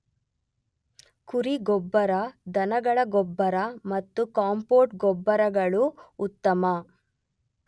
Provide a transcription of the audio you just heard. ಕುರಿ ಗೊಬ್ಬರ ದನಗಳ ಗೊಬ್ಬರ ಮತ್ತು ಕಾಂಪೋಸ್ಟ್ ಗೊಬ್ಬರಗಳು ಉತ್ತಮ.